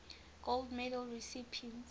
gold medal recipients